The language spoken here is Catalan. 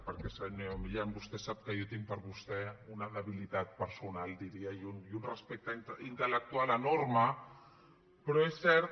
perquè senyor milián vostè sap que jo tinc per vostè una debilitat personal diria i un respecte intel·lectual enorme però és cert